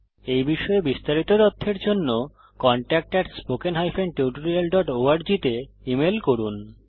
এই বিষয়ে বিস্তারিত তথ্যের জন্য কনট্যাক্ট spoken tutorialorg তে ইমেল করুন